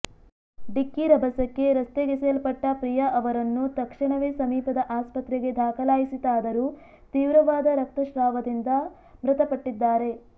ಡಿಕ್ಕಿ ರಭಸಕ್ಕೆ ರಸ್ತೆಗೆಸೆಯಲ್ಪಟ್ಟ ಪ್ರಿಯಾ ಅವರನ್ನು ತಕ್ಷಣವೇ ಸಮೀಪದ ಆಸ್ಪತ್ರೆಗೆ ದಾಖಲಿಸಲಾಯಿತಾದರೂ ತೀವ್ರವಾದ ರಕ್ತಸ್ರಾವದಿಂದ ಮೃತಪಟ್ಟಿದ್ದಾರೆ